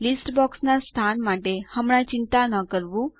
list box ના સ્થાન માટે હમણાં ચિંતા ન કરવું